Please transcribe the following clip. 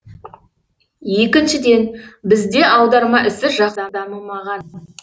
екіншіден бізде аударма ісі жақсы дамымаған